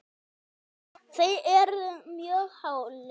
þeir urðu mjög hálir.